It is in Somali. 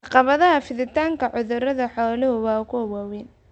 Caqabadaha fiditaanka cudurrada xooluhu waa kuwo waaweyn.